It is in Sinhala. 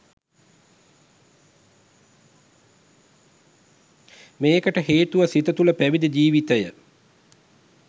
මේකට හේතුව සිත තුළ පැවිදි ජීවිතය